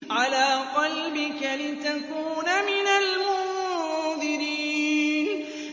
عَلَىٰ قَلْبِكَ لِتَكُونَ مِنَ الْمُنذِرِينَ